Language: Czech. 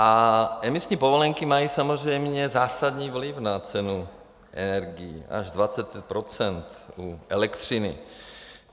A emisní povolenky mají samozřejmě zásadní vliv na cenu energií - až 23 % u elektřiny.